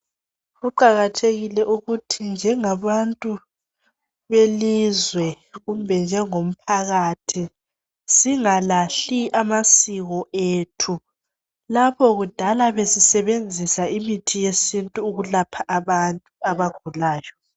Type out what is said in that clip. Kuqakathekile ukuthi njengabantu belizwe kumbe njengomphakathi singalahli amasiko ethu. Lapho kudala besisebenzisa imithi yesintu ukulapha abantu abagulayo.